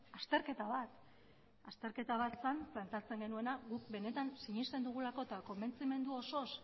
azterketa bat azterketa bat zen planteatzen genuena guk benetan sinesten dugulako eta konbentzimendu osoz